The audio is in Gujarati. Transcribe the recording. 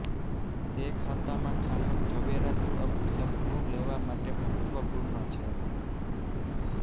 તે ખાતામાં છાંયો ઝવેરાત અપ સપનું લેવા માટે મહત્વપૂર્ણ છે